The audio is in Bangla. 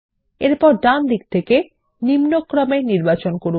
এরপর ডানদিক থেকে নিম্নক্রমে নির্বাচন করুন